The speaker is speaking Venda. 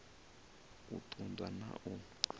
u ṱun ḓwa na u